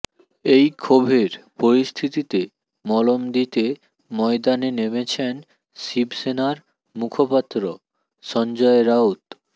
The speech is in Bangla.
এই ক্ষোভের পরিস্থিতিতে মলম দিতে ময়দানে নেমেছেন শিবসেনার মুখপাত্র সঞ্জয় রাউত